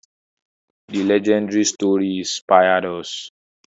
The legendary story inspired us.